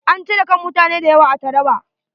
An cire kan mutane da yawa a Traba.